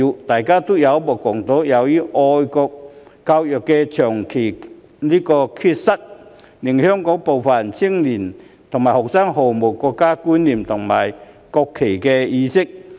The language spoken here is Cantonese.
大家有目共睹，由於香港長期缺乏愛國教育，令香港部分青年和學生毫無國家觀念，亦對尊重國旗毫無意識。